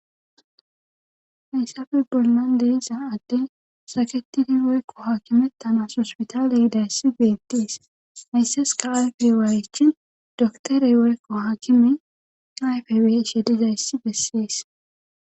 hayssafe bolnan deiza adden saketiri woykko haakimetanasospitaaleyidayssi geettiis haysses ka ayferiwaaychin doktorey woykko haakime ayfe weshe dizayssi bessies